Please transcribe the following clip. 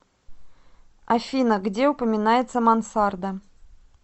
афина где упоминается мансарда